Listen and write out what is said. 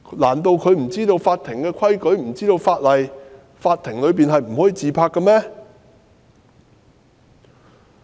難道他不清楚法庭的規矩或法例禁止在法庭內自拍嗎？